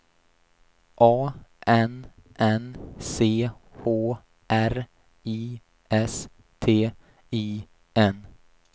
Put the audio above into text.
A N N C H R I S T I N